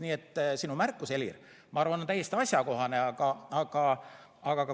Nii et sinu märkus, Helir, ma arvan, on täiesti asjakohane.